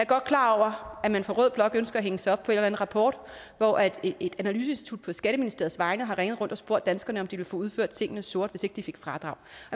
godt klar over at man fra rød blok ønsker at hænge sig op på en eller en rapport hvori et analyseinstitut på skatteministeriets vegne har ringet rundt og spurgt danskerne om de ville få udført tingene sort hvis ikke de fik fradrag